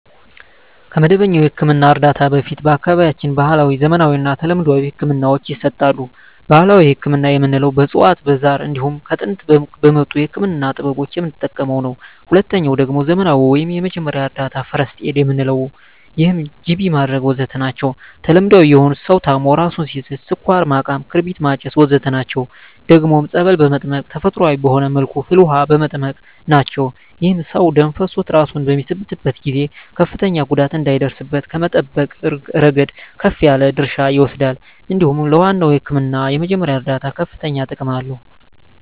ከመደበኛ የሕክምና እርዳታ በፊት በአካባቢያችን ባህለዊ፣ ዘመናዊና ተለምዷዊ ህክምናወች ይሰጣሉ። ባህላዊ ህክምና የምንለዉ በእፅዋት በዛር እንዲሁም ከጥንት በመጡ የህክምና ጥበቦች የምንጠቀመዉ ነዉ። ሁለተኛዉ ደግሞ ዘመናዊ ወይም የመጀመሪያ እርዳታ(ፈርክት ኤድ) የምንለዉ ነዉ ይህም ጅቢ ማድረግ ወዘተ ናቸዉ። ተለምዳዊ የሆኑት ሰዉ ታሞ እራሱን ሲስት ስኳር ማቃም ክርቢት ማጨስ ወዘተ ናቸዉ። ደግሞም ፀበል በመጠመቅ ተፈጥሮአዊ በሆነ መልኩ ፍል ዉሃ በመጠቀም ናቸዉ። ይህም ሰዉ ደም ፈሶት እራሱን በሚስትበት ጊዜ ከፍተኛ ጉዳት እንዳይደርስበት ከመጠበቅ እረገድ ከፍ ያለ ድርሻ ይወስዳል እንዲሁም ለዋናዉ ህክምና የመጀመሪያ እርዳታ ከፍተኛ ጥቅም አለዉ።